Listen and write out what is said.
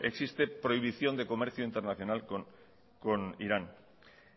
existe prohibición de comercio internacional con irán